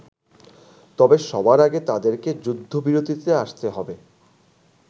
তবে সবার আগে তাদেরকে যুদ্ধবিরতিতে আসতে হবে।